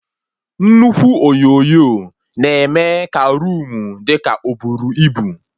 Nnukwu onyonyo na-eme ka roomu dị ka oburu ibu